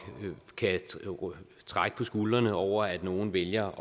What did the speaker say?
kan trække på skuldrene over at nogle vælger